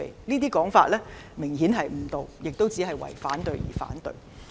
這種說法明顯誤導，是為反對而反對。